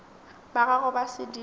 ba gago ba sedimo o